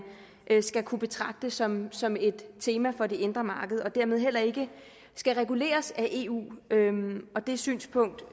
skal kunne betragte som som et tema for det indre marked og dermed heller ikke skal reguleres af eu det synspunkt